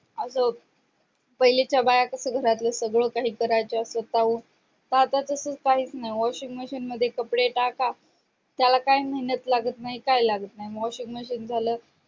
पहिलीच्या बाया कशा घरातलं सगळं काही करायच्या स्वतःहून का आता तसं काहीच नाही washing machine मध्ये कपडे टाका त्याला काय मेहनत लागत नाही काय लागत नाही washing machine झालं